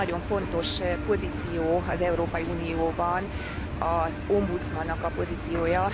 Vagy egy nagyon fontos pozíció az Európai Unióban, az ombudsmannak a pozíciója.